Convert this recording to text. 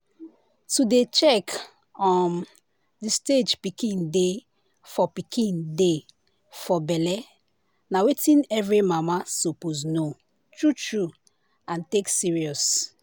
to dey check um the stage pikin dey for pikin dey for belle na wetin every mamasuppose know true true and take serious.